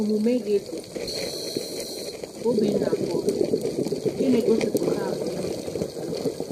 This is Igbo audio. Omume gị dị ka Obinnaboard nke na-egosipụta àgwà ime gị.